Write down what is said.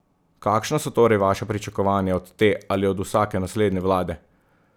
Kakšna so torej vaša pričakovanja od te ali od vsake naslednje vlade?